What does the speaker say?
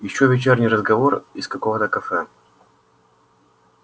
ещё вечерний разговор из какого-то кафе